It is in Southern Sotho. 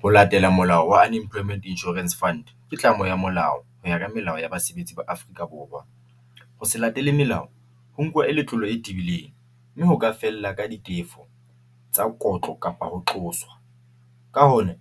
Ho latela molao wa Unemployment Insurance Fund, ke tlamo ya molao ho ya ka melao ya basebetsi ba Afrika Borwa, ho se latele melao ho e letlolo e tibilleng mme hoka fella ka ditefo tsa kotlo kapa ho qoswa ka ho na